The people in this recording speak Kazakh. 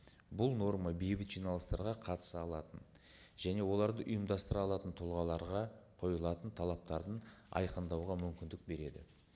бұл норма бейбіт жиналыстарға қатыса алатын және оларды ұйымдастыра алатын тұлғаларға қойылатын талаптарды айқындауға мүмкіндік береді